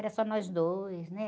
Era só nós dois, né?